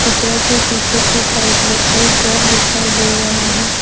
चित्र के पिछे के साइड में एक घर दिखाई दे रहा हैं।